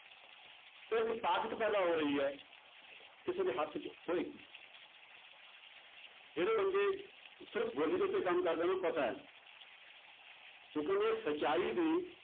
ਉਹ ਇੱਕ ਤਾਕਤ ਪੈਦਾ ਹੋ ਰਹੀ ਹੈ ਕਿਸੇ ਦੇ ਹੱਥ 'ਚ ਹੋਏਗੀ ਜਿਹੜੇ ਬੰਦੇ ਸਿਰਫ਼ ਬੋਲੀ ਦੇ ਉੱਤੇ ਕੰਮ ਕਰਦੇ ਪਤਾ ਹੈ ਕਿਉਂਕਿ ਉਹਨੇ ਸਚਾਈ ਦੀ